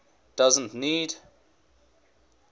doesn t need